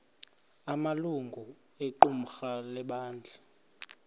amalungu equmrhu lebandla